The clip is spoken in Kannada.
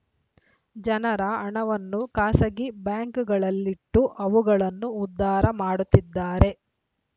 ಜನರ ಹಣವನ್ನು ಖಾಸಗಿ ಬ್ಯಾಂಕ್‌ಗಳಲ್ಲಿಟ್ಟು ಅವುಗಳನ್ನು ಉದ್ಧಾರ ಮಾಡುತ್ತಿದ್ದಾರೆ